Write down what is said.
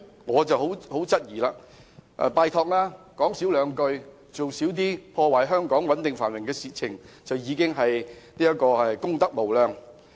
我拜託他們少說話，少做破壞香港穩定繁榮的事情，這已是功德無量。